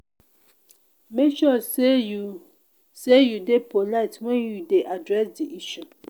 make sure say you say you de polite when you de address di issue